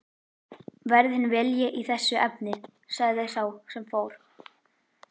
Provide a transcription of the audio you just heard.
Verði þinn vilji í þessu efni sagði sá sem fór.